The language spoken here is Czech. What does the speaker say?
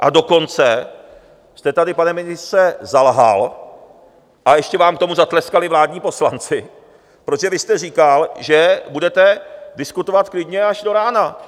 A dokonce jste tady, pane ministře, zalhal a ještě vám k tomu zatleskali vládní poslanci, protože vy jste říkal, že budete diskutovat klidně až do rána.